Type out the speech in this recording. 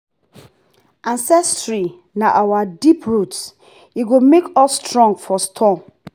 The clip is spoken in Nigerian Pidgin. ancestry na our deep root e go make us strong for storm.